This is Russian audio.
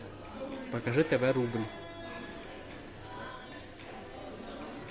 покажи тв рубль